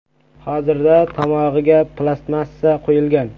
Hozirda tomog‘iga plastmassa qo‘yilgan.